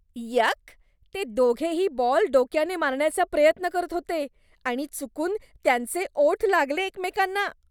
यक! ते दोघेही बॉल डोक्याने मारण्याचा प्रयत्न करत होते आणि चुकून त्यांचे ओठ लागले एकमेकांना.